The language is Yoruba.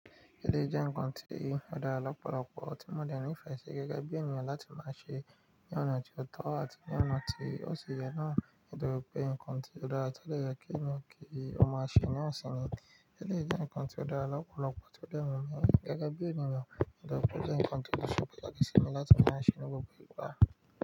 Eleyii je nkan ti o dara lopolopo ti mo de ni ife si gege bi eniyan lati ma se ni ona toto ati ni ona to si ye na nitori pe nkan ti o daara ti o de ye ki eniyan ki o ma se na sini. Eleyii jẹ́ nǹkan tí ọ̀darà lọ́pọ̀lọpo ti o de wun mi gẹ́gẹ́ bí ènìyàn, mo de wope o je nǹkan tí ó ṣe pataki simi láti máa ṣe ní gbogbo ìgbà.